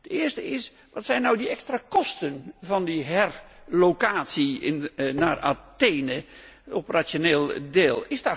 De eerste is wat zijn nu die extra kosten van die herlocatie naar Athene op rationeel deel.